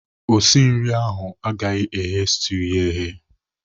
Osi nri ahụ agaghị eghe stuu ya eghe.